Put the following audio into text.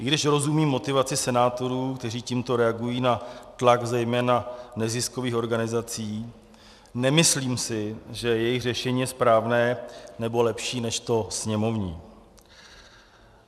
I když rozumím motivaci senátorů, kteří tímto reagují na tlak zejména neziskových organizací, nemyslím si, že jejich řešení je správné nebo lepší než to sněmovní.